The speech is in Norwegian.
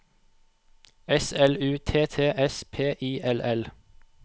S L U T T S P I L L